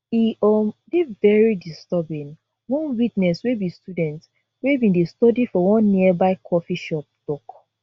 e um dey very disturbing one witness wey be student wey bin dey study for one nearby coffee shop tok